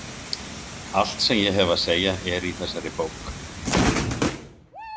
Allt sem ég hef að segja er í þessari bók.